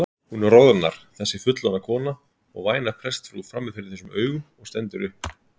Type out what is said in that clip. Hún roðnar þessi fullorðna kona og væna prestsfrú frammi fyrir þessum augum og stendur upp.